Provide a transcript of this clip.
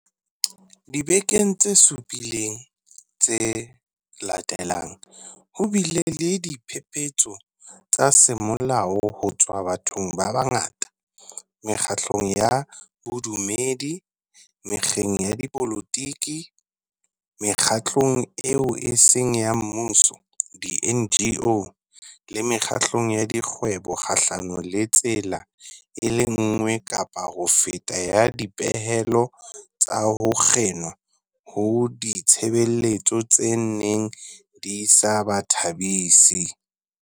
Dibekeng tse supileng tse latelang, ho bile le diphephetso tsa semolao ho tswa bathong ba bangata, mekgatlong ya bodumedi, mekgeng ya dipolotiki, Mekgatlong eo e Seng ya Mmuso di-NGO, le mekgatlong ya dikgwebo kgahlanong le tsela e le nngwe kapa ho feta ya dipehelo tsa ho kginwa ha ditshebeletso tse neng di sa ba thabisi.